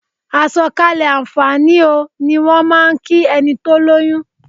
"Àsọ̀kalẹ̀ àǹfààní o" ni wọ́n máà ń kí ẹni tó lóyún.